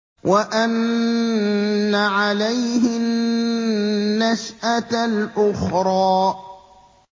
وَأَنَّ عَلَيْهِ النَّشْأَةَ الْأُخْرَىٰ